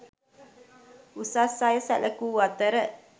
උසස් අය සැලකූ අතර